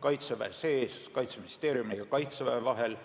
Kaitseväe sees ning Kaitseministeeriumi ja Kaitseväe vahel.